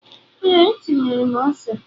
ee, etinyere m ose